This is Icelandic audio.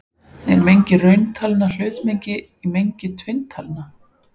Er mengi rauntalna hlutmengi í mengi tvinntalna?